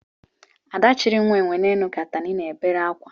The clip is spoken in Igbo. Ada chiri nwa enwe n'elu ka atani na-ebere akwa